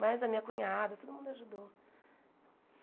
Mas a minha cunhada, todo mundo ajudou.